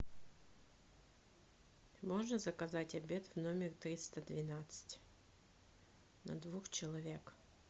можно заказать обед в номер триста двенадцать на двух человек